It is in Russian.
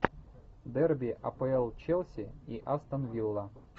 дерби апл челси и астон вилла